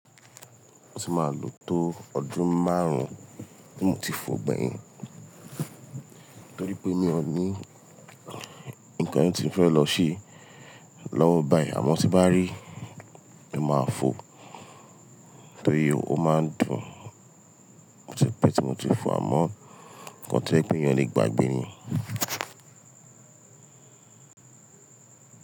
Mo tí máa lò tó ọdún márùn-ún tí mo ti fọ gbẹ̀yìn torí pé mi ò ní ńnkan tí mo ti fẹ́ lọ ṣe lọ́wọ́ báyìí àmọ́ tí n bá rí, mo máa fọ torí ó máa ń dùn. Ó ti pẹ́ tí mo ti fọ àmọ́ nǹkan tí o je pe eeyàn o le gbagbe ní.